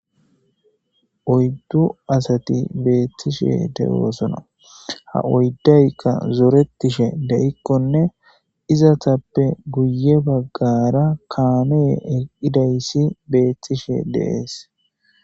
Oyddu asati beetishshe de"osonna ha oyidayikka betishshe dikkone izetappe guye baggara kamey eqidayissa betishshe des